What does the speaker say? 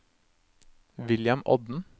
William Odden